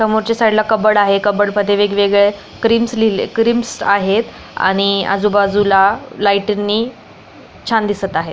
समोरच्या साईडला कबर्ड आहे कबर्ड मध्ये वेगवेगळे क्रिमस लिले क्रिमस आहेत आणि आजुबाजुला लाइटीनी छान दिसत आहे.